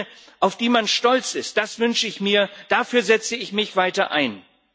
Eine, auf die man stolz ist. Das wünsche ich mir, dafür setze ich mich weiter ein.